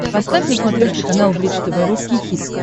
поставь на смотрешке канал бридж тв русский хит